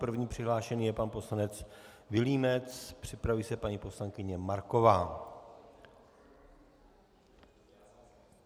První přihlášený je pan poslanec Vilímec, připraví se paní poslankyně Marková.